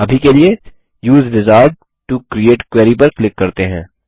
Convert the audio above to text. अभी के लिए उसे विजार्ड टो क्रिएट क्वेरी पर क्लिक करते हैं